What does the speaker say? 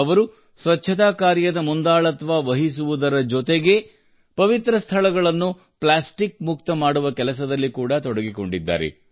ಅವರು ಸ್ವಚ್ಛತಾ ಕಾರ್ಯದ ಮುಂದಾಳತ್ವ ವಹಿಸುವುದರ ಜೊತೆಗೇ ಪವಿತ್ರ ಸ್ಥಳಗಳನ್ನು ಪ್ಲಾಸ್ಟಿಕ್ ಮುಕ್ತ ಮಾಡುವ ಕೆಲಸದಲ್ಲಿ ಕೂಡಾ ತೊಡಗಿಕೊಂಡಿದ್ದಾರೆ